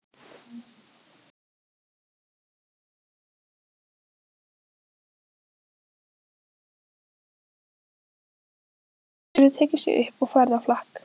Hann getur tekið sig upp og farið á flakk.